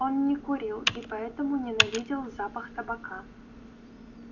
он не курил и поэтому ненавидел запах табака